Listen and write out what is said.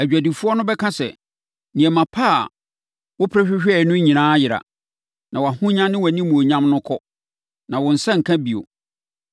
“Adwadifoɔ no bɛka sɛ, ‘Nneɛma pa a wopere hwehwɛeɛ no nyinaa ayera, na wʼahonya ne wʼanimuonyam no kɔ, na wo nsa renka bio.’